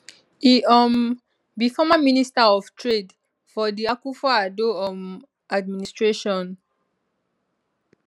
e um be former minister of trade for di akufo addo um administration